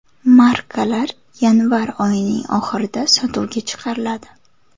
Markalar yanvar oyining oxirida sotuvga chiqariladi.